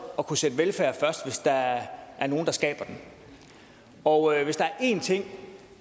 at kunne sætte velfærd først hvis der er nogle der skaber den og hvis der er en ting